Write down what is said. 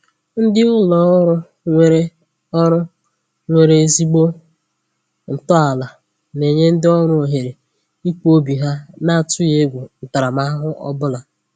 Ndị ụlọ ọrụ nwere ọrụ nwere ezigbo ntọala na-enye ndị ọrụ ohere ikwu obi ha na-atụghị egwu ntaramahụhụ ọbụla